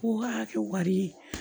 Ko k'a kɛ wari ye